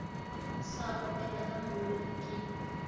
sa opela ka molodi ke